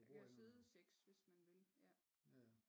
Der kan sidde 6 hvis man vil ja